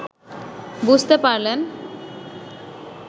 বুঝতে পারলেন